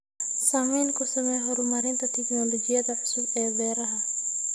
Saamayn ku samee horumarinta tignoolajiyada cusub ee beeraha.